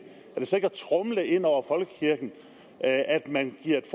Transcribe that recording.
så ikke at tromle ind over folkekirken at at man giver et